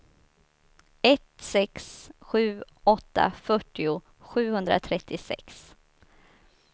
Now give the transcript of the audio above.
ett sex sju åtta fyrtio sjuhundratrettiosex